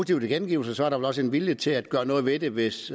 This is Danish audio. tilkendegivelser er der vel også en vilje til at gøre noget ved det hvis